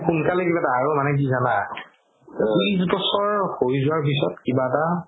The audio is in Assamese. সোন্কালে কিবা এটা আৰু মানে কি জানা ত্ৰিশ বছৰ হয় যোৱাৰ পিছত কিবা এটা